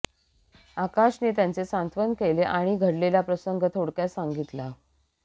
आकाशने त्यांचे सांत्वन केले आणि घडलेला प्रसंग थोडक्यात सांगितला